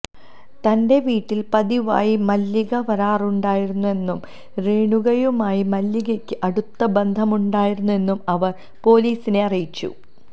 തന്റെ വീട്ടിൽ പതിവായി മല്ലിക വരാറുണ്ടായിരുന്നെന്നും രേണുകയുമായി മല്ലികയ്ക്ക് അടുത്ത ബന്ധമുണ്ടായിരുന്നെന്നും അവർ പൊലീസിനെ അറിയിച്ചു